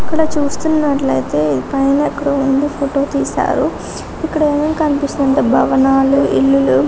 ఇక్కడ చూస్తున్నట్లయితే పైన ఎక్కడ ఉండి ఫోటో తీశారు ఇక్కడ ఏం కనిపిస్తుంది అంటే భవనాలు ఇల్లులు --